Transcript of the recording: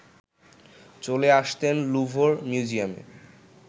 চলে আসতেন ল্যুভর মিউজিয়ামে